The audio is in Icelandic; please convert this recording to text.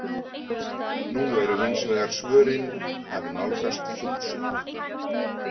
Nú eru hins vegar svörin að nálgast þúsund.